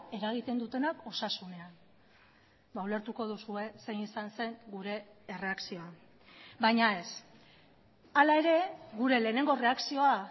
eragiten dutenak osasunean ulertuko duzue zein izan zen gure erreakzioa baina ez hala ere gure lehenengo erreakzioa